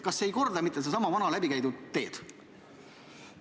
Kas see ei korda mitte sedasama vana läbikäidud teed?